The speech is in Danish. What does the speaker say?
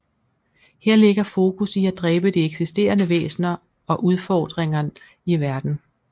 Her ligger fokus i at dræbe de eksisterende væsener og udfordringer i verdenen